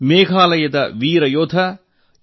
ಮೇಘಾಲಯದ ವೀರ ಯೋಧ ಯು